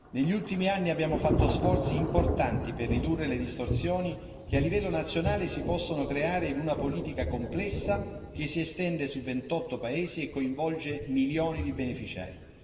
Negli ultimi anni abbiamo fatto sforzi importanti per ridurre le distorsioni che a livello nazionale si possono creare in una politica complessa che si estende su 28 paesi e coinvolge milioni di beneficiari.